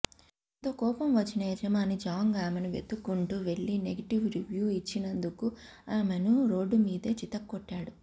దీంతో కోపం వచ్చిన యజమాని జాంగ్ ఆమెను వెతుక్కుంటూ వెళ్లి నెగిటివ్ రివ్యూ ఇచ్చినందుకు ఆమెను రోడ్డు మీదే చితక్కొట్టాడు